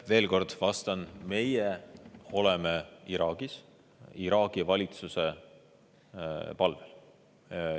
Veel kord vastan: meie oleme Iraagis Iraagi valitsuse palvel.